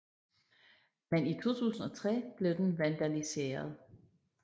Men i 2003 blev den vandaliseret